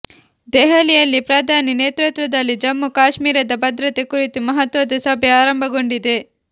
ದೆಹಲಿಯಲ್ಲಿ ಪ್ರಧಾನಿ ನೇತೃತ್ವದಲ್ಲಿ ಜಮ್ಮು ಕಾಶ್ಮೀರದ ಭದ್ರತೆ ಕುರಿತು ಮಹತ್ವದ ಸಭೆ ಆರಂಭಗೊಂಡಿದೆ